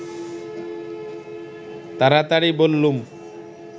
তাড়াতাড়ি বললুম